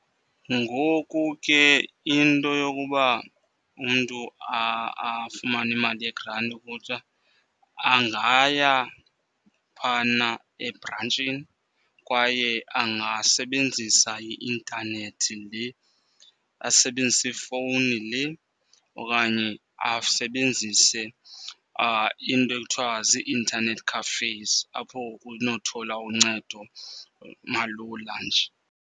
Ngoku ke into yokuba umntu afumane imali yegranti okutsha angaya phana ebrantshini. Kwaye angasebenzisa i-intanethi le, asebenzise ifowuni le okanye asebenzise iinto ekuthiwa zii-internet cafes apho kunothola uncedo malula nje.